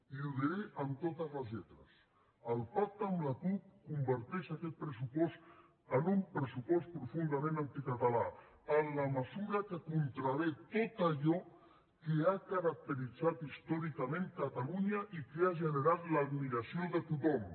i ho diré amb totes les lletres el pacte amb la cup converteix aquest pressupost en un pressupost profundament anticatalà en la mesura que contravé a tot allò que ha caracteritzat històricament catalunya i que ha generat l’admiració de tothom